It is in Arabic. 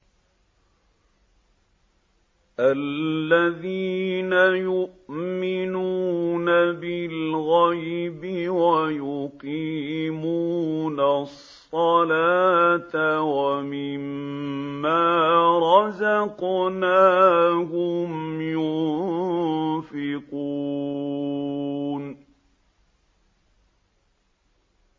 الَّذِينَ يُؤْمِنُونَ بِالْغَيْبِ وَيُقِيمُونَ الصَّلَاةَ وَمِمَّا رَزَقْنَاهُمْ يُنفِقُونَ